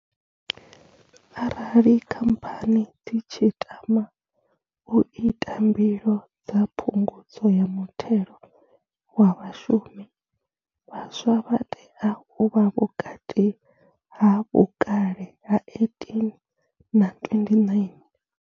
Arali khamphani dzi tshi tama u ita mbilo dza phungudzo ya muthelo wa vhashumi, vhaswa vha tea u vha vhukati ha vhukale ha 18 na 29.